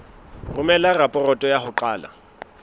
romela raporoto ya ho qala